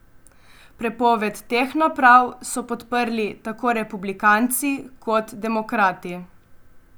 Prepoved teh naprav so podprli tako republikanci kot demokrati.